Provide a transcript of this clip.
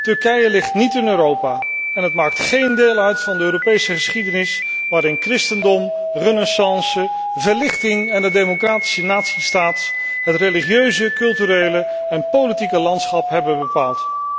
Turkije ligt niet in Europa en maakt geen deel uit van de Europese geschiedenis, waarin christendom, renaissance, verlichting en de democratische natiestaat het religieuze, culturele en politieke landschap hebben bepaald.